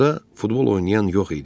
Burda futbol oynayan yox idi.